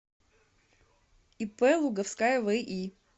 ип луговская ви